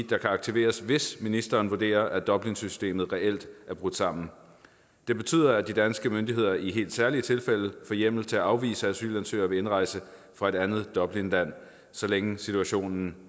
der kan aktiveres hvis ministeren vurderer at dublinsystemet reelt er brudt sammen det betyder at de danske myndigheder i helt særlige tilfælde får hjemmel til at afvise asylansøgere ved indrejse fra et andet dublinland så længe situationen